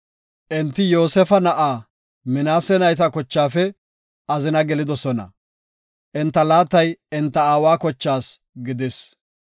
Enti Yoosefa na7aa Minaase nayta kochaafe azina gelidosona; enta laatay enta aawa kochaas gidis.